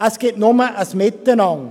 Es gibt nur ein Miteinander.